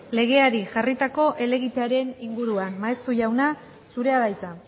legeari jarritako helegitearen inguruan maeztu jauna zurea da hitza